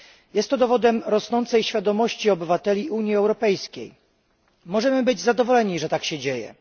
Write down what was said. Jest to dowodem rosnącej świadomości obywateli Unii Europejskiej. Możemy być zadowoleni, że tak się dzieje.